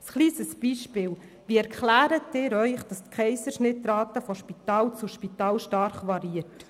Ein kleines Beispiel: Wie erklären Sie sich, dass die Rate der Kaiserschnitte von Spital zu Spital stark variiert?